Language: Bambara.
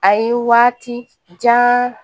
A ye waati jan